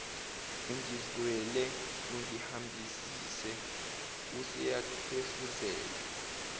ungizwele ungihambise useyahefuzela